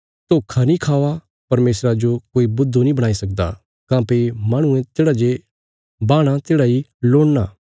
धोखा नीं खावा परमेशरा जो कोई बुद्धु नीं बणाई सकदा काँह्भई माहणुये तेढ़ा जे बाहणा तेढ़ा इ लुणना